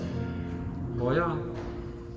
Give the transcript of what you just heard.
højere